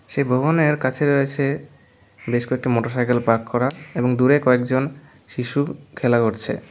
সেই ভবনের কাছে রয়েছে বেশ কয়েকটি মোটরসাইকেল পার্ক করা এবং দূরে কয়েকজন শিশু খেলা করছে।